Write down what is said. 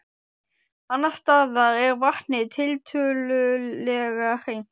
Annars staðar er vatnið tiltölulega hreint.